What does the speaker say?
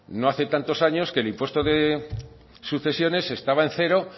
no hace tantos años que el impuesto de sucesiones estaba en cero